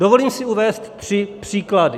Dovolím si uvést tři příklady.